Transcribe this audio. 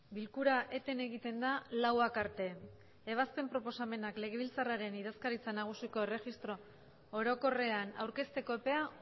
bilkura eten egiten da lauak arte ebazpen proposamenak legebiltzarraren idazkaritza nagusiko erregistro orokorrean aurkezteko epea